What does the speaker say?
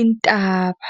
intaba.